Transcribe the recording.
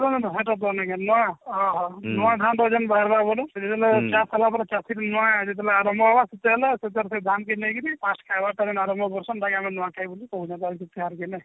ଓ ହୋ ନୂଆ ଖାଉଛନ ବାର ବାର ବୋଲି ବୋଲେ ଚାଷ କଲାପରେ ଚାଷିକି ନୂଆ ଯେତେବେଳେ ଆରମ୍ଭ ହେବା ସେତେବେଲେ ସେ ତାର ସେ ଧାନ କି ନେଇକିରି first ଖାଇବା ତାର ଆରମ୍ଭ ନୂଆବର୍ଷ ର ହେନ୍ତା ଆମେ ନୂଆ ଖାଇବୋଲି କହୁ